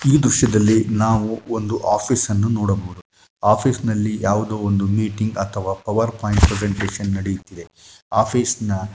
ಈ ದೃಶ್ಯದಲ್ಲಿ ನಾವು ಒಂದು ಆಫೀಸ್‌ನ್ನು ನೋಡಬಹುದು ಆಫೀಸ್‌ನಲ್ಲಿ ಯಾವುದೋ ಒಂದು ಮೀಟಿಂಗ್‌ ಅಥವಾ ಪವರ್‌ ಪಾಯಿಂಟ್‌ ಪ್ರೆಸನ್ಟೇಷನ್ ನಡಿಯುತ್ತಿದೆ ಆಫೀಸ್‌ನ .